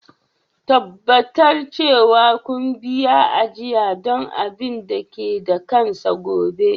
Tabbatar cewa kun biya ajiya don abin da ke da kansa gobe.